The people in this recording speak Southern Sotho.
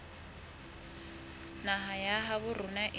naha ya habo rona e